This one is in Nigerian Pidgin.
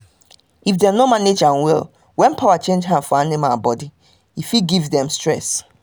if dem no manage am well when power change hand for animals body fit give dem stress